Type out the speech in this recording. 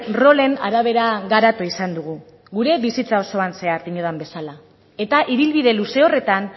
rolen arabera garatu izan dugu gure bizitzan osoan zehar diodan bezala eta ibilbide luze horretan